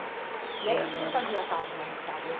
E aí o que que você fazia à tarde na em casa esse